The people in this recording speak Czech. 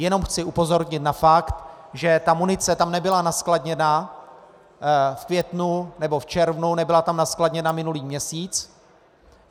Jenom chci upozornit na fakt, že ta munice tam nebyla naskladněna v květnu nebo v červnu, nebyla tam naskladněna minulý měsíc.